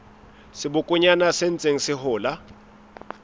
sebokonyana se ntseng se hola